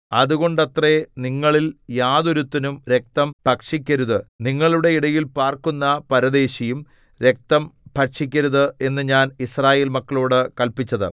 അതുകൊണ്ടത്രേ നിങ്ങളിൽ യാതൊരുത്തനും രക്തം ഭക്ഷിക്കരുത് നിങ്ങളുടെ ഇടയിൽ പാർക്കുന്ന പരദേശിയും രക്തം ഭക്ഷിക്കരുത് എന്നു ഞാൻ യിസ്രായേൽ മക്കളോടു കല്പിച്ചത്